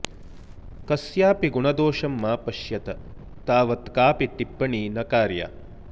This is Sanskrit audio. कस्यापि गुणदोषं मा पश्यत तावत् कापि टिप्पणी न कार्या